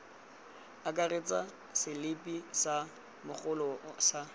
akaretsa selipi sa mogolo sa